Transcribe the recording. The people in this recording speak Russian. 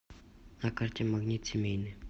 на карте магнит семейный